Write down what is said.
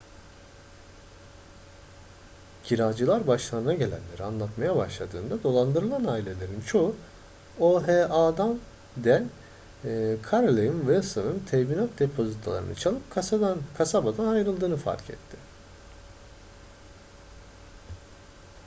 kiracılar başlarına gelenleri anlatmaya başladığında dolandırılan ailelerin çoğu oha'den carolyn wilson'ın teminat depozitolarını çalıp kasabadan ayrıldığını fark etti